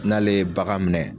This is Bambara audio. N'ale ye bagan minɛ